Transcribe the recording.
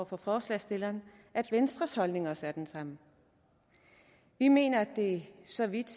for forslagsstillerne at venstres holdning også er den samme vi mener at det så vidt